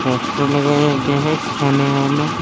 Poster लगाया गया है खाने वाला।